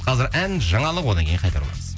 қазір ән жаңалық одан кейін қайта ораламыз